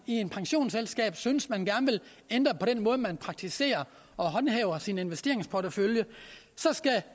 i et pensionsselskab synes at man gerne vil ændre på den måde man praktiserer og håndhæver sin investeringsportefølje så skal